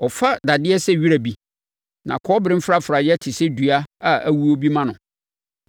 Ɔfa dadeɛ sɛ wira bi na kɔbere mfrafraeɛ te sɛ dua a awuo bi ma no.